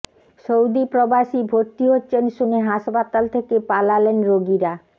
Saudi প্রবাসী ভর্তি হচ্ছেন শুনে হাসপাতাল থেকে পালালেন রোগীরা